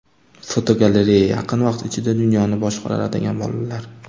Fotogalereya: Yaqin vaqt ichida dunyoni boshqaradigan bolalar.